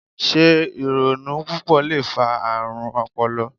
Se ironu pupọ le fa aarun ọpọlọ?